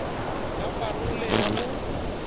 ya pa role ya ho